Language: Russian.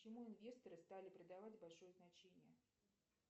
почему инвесторы стали придавать большое значение